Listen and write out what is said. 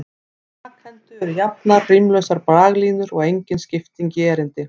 Í stakhendu eru jafnar, rímlausar braglínur og engin skipting í erindi.